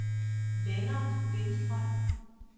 Lennart Lindstrøm